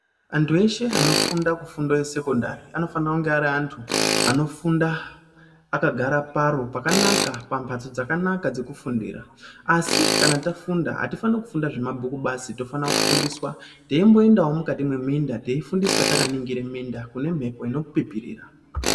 Antu eshe anofunda kufundo yesekondari anofanira kunge ari antu anofunda akagara paro pakanaka pambatso dzakanaka dzekufundira asi kana tafunda atifanikufunda zvemabhuku basi tofana kufundiswa teimboendawo mukati mweminda teifundiswa takaningire minda kune mhepo inopipirira.